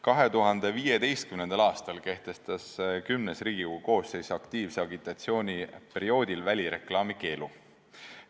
2015. aastal kehtestas Riigikogu X koosseis aktiivse agitatsiooni perioodiks välireklaami keelu.